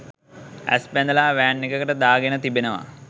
ඇස් බැඳලා වෑන් එකකට දා ගෙන තිබෙනවා